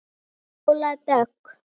Fjóla Dögg.